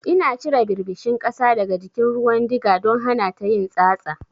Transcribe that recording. Ina cire ɓirɓishin ƙasa daga jikin ruwan diga don hanata yin tsatsa.